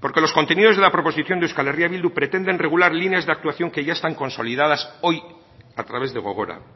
porque los contenidos de la proposición de euskal herria bildu pretenden regular líneas de actuación que ya están consolidadas hoy a través de gogora